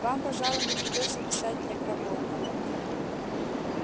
вам пожалуй не придётся писать мне про волка